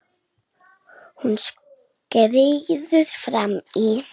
Hún skríður fram í.